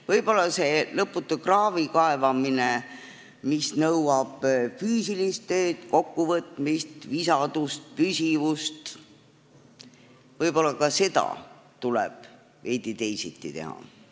Võib-olla ka seda lõputut kraavikaevamist, mis nõuab füüsilist tööd, kokkuvõtmist, visadust, püsivust, tuleb nüüd veidi teisiti teha.